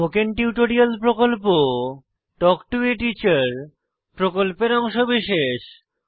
spoken tutorial প্রকল্প talk to a teacher প্রকল্পের অংশবিশেষ